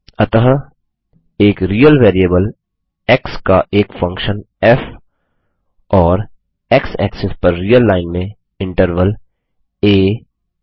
अतः एक real variable x का एक फंक्शन फ़ और x एक्सिस पर रियल लाइन में इंटरवल आ ब